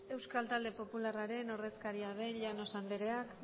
euskal talde popularraren ordezkaria den llanos andereak